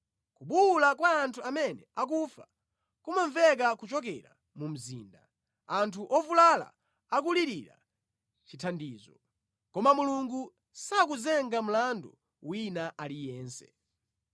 Kubuwula kwa anthu amene akufa kumamveka kuchokera mu mzinda, anthu ovulala akulirira chithandizo. Koma Mulungu sakuyimba mlandu wina aliyense.